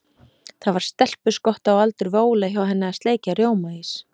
Það var stelpuskott á aldur við Óla hjá henni að sleikja rjómaís.